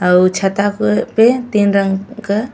और छता पे तीन रंग क --